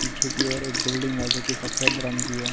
पीछे की ओर एक बिल्डिंग है जोकि सफेद रंग की है।